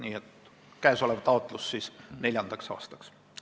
Nii et käesolev taotlus on siis neljanda aasta kohta.